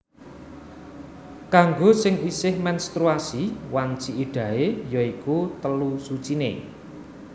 Kanggo sing isih menstruasi wanci iddahé ya iku telu suciné